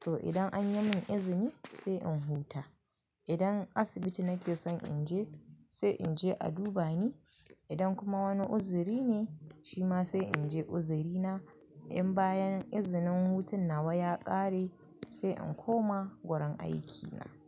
To idan an yi min izini sai in huta. Idan asibiti nake son in je sai in je a duba ni. Idan kuma wani uzuri ne shi ma sai in je uzurina. In bayan izinin hutun nawa ya ƙare sai in koma wurin aikina.